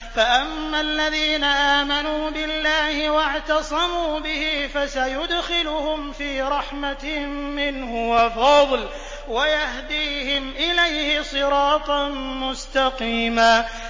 فَأَمَّا الَّذِينَ آمَنُوا بِاللَّهِ وَاعْتَصَمُوا بِهِ فَسَيُدْخِلُهُمْ فِي رَحْمَةٍ مِّنْهُ وَفَضْلٍ وَيَهْدِيهِمْ إِلَيْهِ صِرَاطًا مُّسْتَقِيمًا